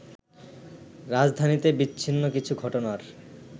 রাজধানীতে বিচ্ছিন্ন কিছু ঘটনার